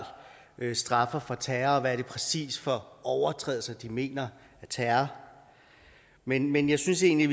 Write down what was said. straffer terror og hvad det præcis er for overtrædelser de mener er terror men men jeg synes egentlig